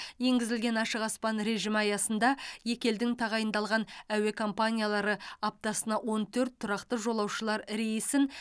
енгізілген ашық аспан режимі аясында екі елдің тағайындалған әуе компаниялары аптасына он төрт тұрақты жолаушылар рейсін